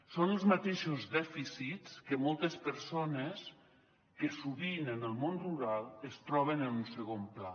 són els mateixos dèficits que moltes persones sovint en el món rural es troben en un segon pla